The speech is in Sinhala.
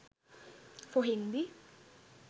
for hindi